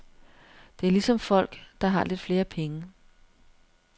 Det er ligesom folk, der har lidt flere penge.